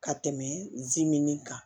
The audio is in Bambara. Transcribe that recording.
Ka tɛmɛ zimini kan